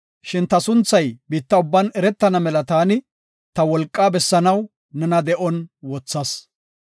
Shin ta sunthay biitta ubban eretana mela taani ta wolqaa bessanaw nena de7on wothas.